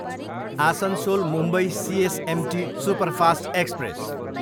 Asansol, Mumbai CSMT superfast express